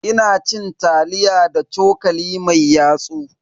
Ina cin taliya da cokali mai yatsu.